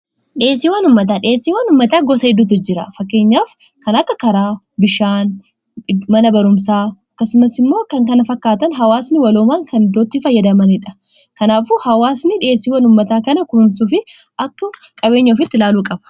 dhieessii wanummataa dheessii wanummataa gosa hidduutu jira fakkeenyaaf kan akka karaa bishaan mana barumsaa kasumas immoo kan kana fakkaatan hawaasni waloomaan kan dootti fayyadamaniidha kanaaf hawaasni dhieesii wanummataa kana kuumtuuf akka qabeenyaofitti laaluu qaba